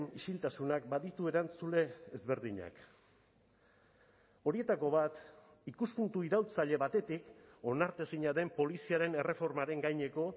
isiltasunak baditu erantzule ezberdinak horietako bat ikuspuntu iraultzaile batetik onartezina den poliziaren erreformaren gaineko